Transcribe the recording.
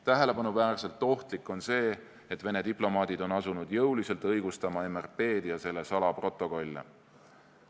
Tähelepanuväärselt ohtlik on see, et Vene diplomaadid on asunud jõuliselt õigustama MRP-d ja selle salaprotokolle.